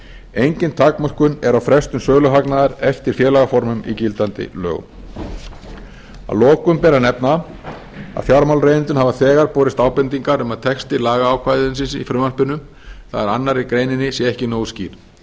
engin takmörkun er á frestun söluhagnaðar eftir félagsformum í gildandi lögum að lokum ber að nefna að fjármálaeigendum hafa þegar borist ábendingar um að texti lagaákvæðisins í frumvarpinu það er önnur grein sé ekki nógu skýr